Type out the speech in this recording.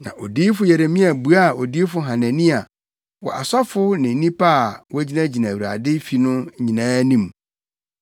Na odiyifo Yeremia buaa odiyifo Hanania wɔ asɔfo ne nnipa a na wogyinagyina Awurade fi no nyinaa anim.